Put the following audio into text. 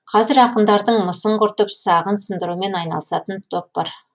қазір ақындардың мысын құртып сағын сындырумен айналысатын топ бар